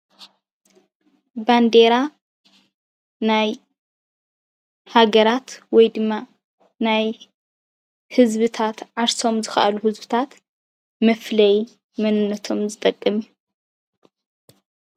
ባንዴራ ናይ ሃገራት ወይ ድማ ናይ ህዝብታት ዓርሶም ዝኽኣሉ ህዝብታት መፍለዪ መንነቶምን ዝጠቅም።